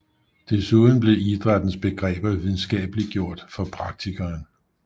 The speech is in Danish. Desuden blev idrættens begreber videnskabeliggjort for praktikeren